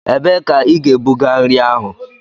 Ebee ka ị ga-ebuga nri ahụ?